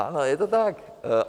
Ano, je to tak.